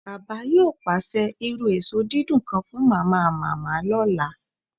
Baba yoo paṣẹ iru eso didun kan fun Mamamama ọla